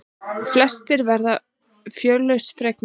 Flestir verða fjörlausn fegnir.